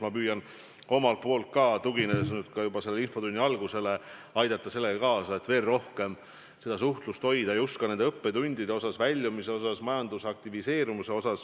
Ma püüan omalt poolt ka aidata kaasa, et veel rohkem seda suhtlust hoida – käsitledes nii saadud õppetunde kui ka väljumise strateegiat ja majanduse aktiviseerimist.